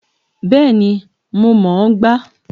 Bẹ́ẹ̀ni, mo mọ̀ ọ́n gbá